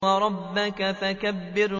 وَرَبَّكَ فَكَبِّرْ